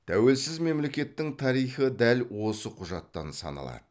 тәуелсіз мемлекеттің тарихы дәл осы құжаттан саналады